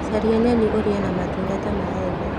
Caria nyeni ũrĩe na matunda ta maembe